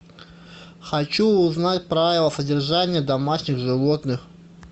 хочу узнать правила содержания домашних животных